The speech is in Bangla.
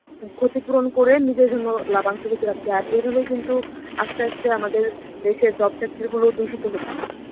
ক্ষতিপূরণ করে নিজের জন্য লাভাংশ কিছু রাখছে. আর এভাবেই কিন্তু আস্তে আস্তে আমাদের দেশের job sector গুলো দূষিত হচ্ছে.